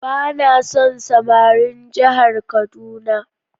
Ba na son samarin jihar kaduna.